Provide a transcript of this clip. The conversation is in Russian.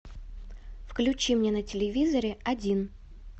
включи мне на телевизоре один